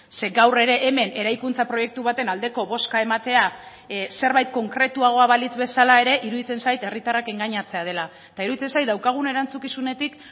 ze gaur ere hemen eraikuntza proiektu baten aldeko bozka ematea zerbait konkretuagoa balitz bezala ere iruditzen zait herritarrak engainatzea dela eta iruditzen zait daukagun erantzukizunetik